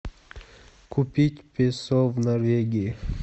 купить песо в норвегии